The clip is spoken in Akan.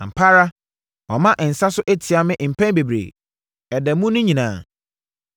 Ampa ara wama nsa so atia me mpɛn bebree, ɛda mu nyinaa.